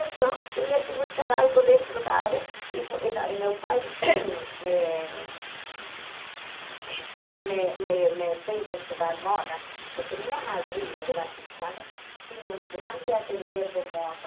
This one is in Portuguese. Então, tinha que buscar algo dentro da área e fui e na e meu pai eh me me me fez estudar moda, porque minha madrinha de batizado tinha um grande ateliê de moda.